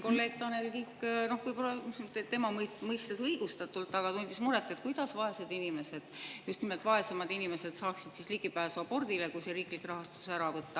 Kolleeg Tanel Kiik tundis siin muret – võib-olla tema õigustatult –, et kuidas vaesed inimesed, just nimelt vaesemad inimesed, saaksid ligipääsu abordile, kui riiklik rahastus ära võtta.